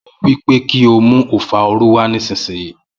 Mo wípé kí o mú ofarọ́ọ̀lù wa nísìsiyìí